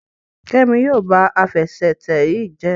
Kemi yíò bá Àfẹsẹ̀tẹ̀ yí jé